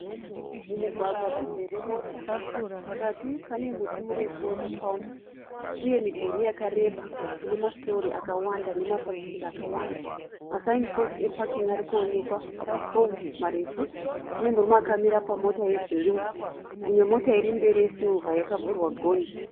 Mugwagwa muzere mota. Pakati pane muti murefu wemuparimu uye midhuri yakareba ine masitori akawanda nemafafitera akawanda. Masaini positi epakingi arikuonekwa pamapooro marefu. Pane murume akamira pamota yebhuruu. Imwe mota iri mberi yesirivha yakavhurwa gonhi.